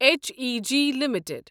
H E G limited